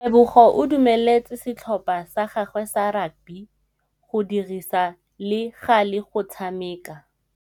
Tebogô o dumeletse setlhopha sa gagwe sa rakabi go dirisa le galê go tshameka.